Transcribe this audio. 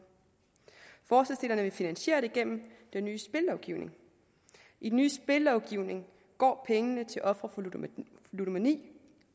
forslagsstillerne vil finansiere det gennem den nye spillovgivning i den nye spillovgivning går pengene til ofre for ludomani